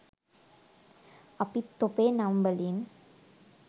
අපිත් තොපේ නම් වලින්